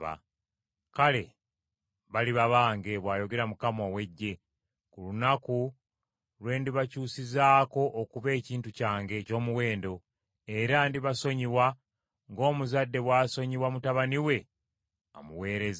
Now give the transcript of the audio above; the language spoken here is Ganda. “Kale baliba bange,” bw’ayogera Mukama ow’Eggye, “ku lunaku lwe ndibakyusizaako okuba ekintu kyange eky’omuwendo; era ndibasonyiwa ng’omuzadde bw’asonyiwa mutabani we amuweereza.